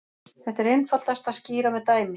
Þetta er einfaldast að skýra með dæmi.